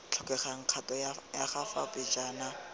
tlhokeng kgato ya fa pejana